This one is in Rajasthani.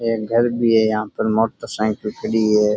एक घर भी है यहाँ पे मोटर साइकिल भी खड़ी है।